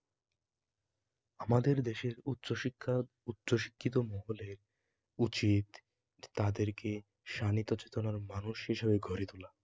আমাদের দেশের উচ্চশিক্ষার উচ্চশিক্ষিত মহলে উচিত তাদেরকে সানিধ্য চেতনার মানুষ হিসেবে গড়ে তোলা